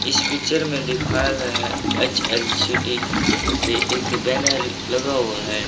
इस पिक्चर में दिखाया गया है एच_एल_ सिटी से एक बैनर लगा हुआ है।